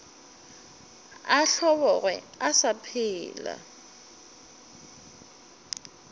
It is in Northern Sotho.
a hlobogwe a sa phela